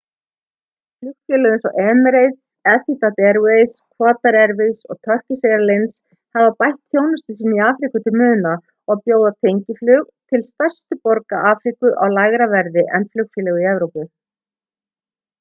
flugfélög eins og emirates etihad airways qatar airways og turkish airlines hafa bætt þjónustu sína í afríku til muna og bjóða tengiflug til stærstu borga afríku á lægra verði en flugfélög í evrópu